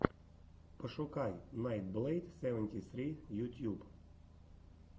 пошукай найтблэйд севенти ссри ютьюб